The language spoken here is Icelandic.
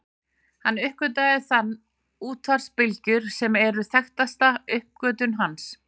Hann uppgötvaði þannig útvarpsbylgjur sem eru þekktasta uppgötvun hans.